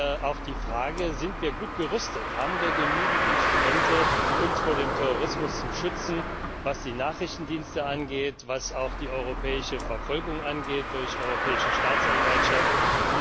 Da wäre auch die Frage Sind wir gut gerüstet, haben wir genügend Instrumente, uns vor dem Terrorismus zu schützen, was die Nachrichtendienste angeht, was auch die europäische Verfolgung durch die Europäische Staatsanwaltschaft angeht?